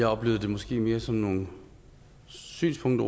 jeg oplevede det måske mere som nogle synspunkter